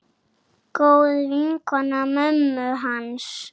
Góð vinkona mömmu hans.